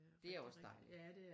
Det er også dejligt